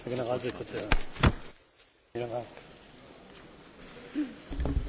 Meine sehr geehrten Damen und Herren, liebe Kolleginnen und Kollegen!